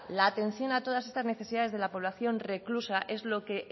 la atención a todas estas necesidades de la población reclusa es lo que